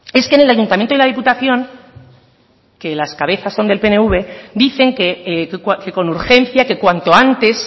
es que en el ayuntamiento y la diputación que las cabezas son del pnv dicen que con urgencia que cuanto antes